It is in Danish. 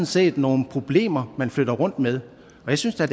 set nogle problemer man flytter rundt med jeg synes da